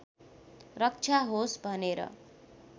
रक्षा होस् भनेर